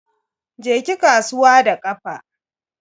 Je ki kasuwa da kafa.